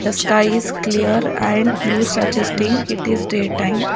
A sky is clear and blue suggesting it is day time.